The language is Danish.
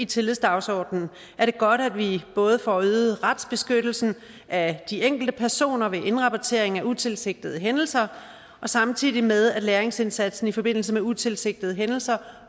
tillidsdagsordenen er det godt at vi både får øget retsbeskyttelsen af de enkelte personer ved indrapportering af utilsigtede hændelser samtidig med at læringsindsatsen i forbindelse med utilsigtede hændelser